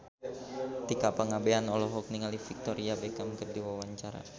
Tika Pangabean olohok ningali Victoria Beckham keur diwawancara